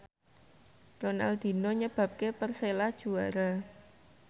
Ronaldinho nyebabke Persela juara